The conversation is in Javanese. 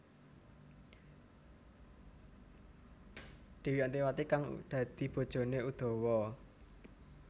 Dewi Antiwati kang dadi bojoné Udawa